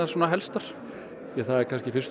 helstar það er kannski fyrst og